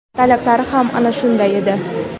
talablari ham ana shunday edi.